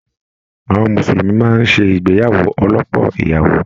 Àwọn mùsùlùmí máa n sé ìgbéyàwó ọlọ́pọ́ ìyàwó.